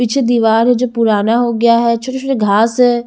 पीछे दीवार है जो पुराना हो गया है छोटे-छोटे घास है।